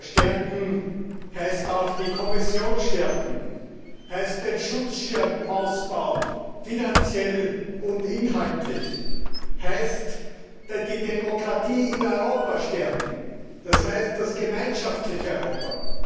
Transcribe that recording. Europa stärken heißt auch die Kommission stärken, heißt den Schutzschirm ausbauen, finanziell und inhaltlich. Es heißt, die Demokratie in Europa stärken, das heißt, das gemeinschaftliche Europa.